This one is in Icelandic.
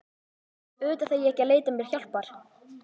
Auðvitað þarf ég ekki að leita mér hjálpar.